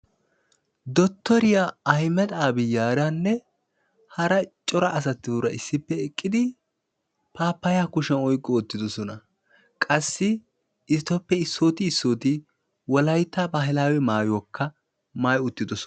Dottoriya ahimada abiyaaranne hara cora asatuura eqqidi paappayyaa kushiyan oykki wottidosona. Qassi etappe issooti issooti wolaytta baahilaawe maayuwakka maayi uttidosona.